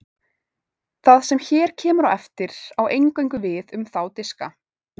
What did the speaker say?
það sem hér kemur á eftir á eingöngu við um þá diska